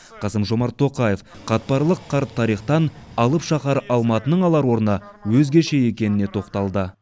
қасым жомарт тоқаев қатпарлы қарт тарихтан алып шаһар алматының алар орны өзгеше екеніне тоқталды